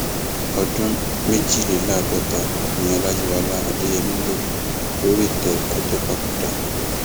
ọdún méjìléláàádọta ni ọlàyíwọlá adéyẹmi lò lórí ìtẹ kó tóó papòdà